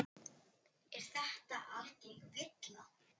Er þetta algeng villa.